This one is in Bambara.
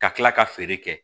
Ka tila ka feere kɛ